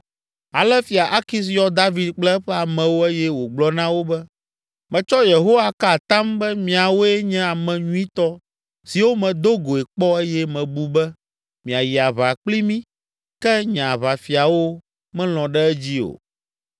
Ale Fia Akis yɔ David kple eƒe amewo eye wògblɔ na wo be, “Metsɔ Yehowa ka atam be miawoe nye ame nyuitɔ siwo medo goe kpɔ eye mebu be miayi aʋa kpli mí ke nye aʋafiawo melɔ̃ ɖe edzi o.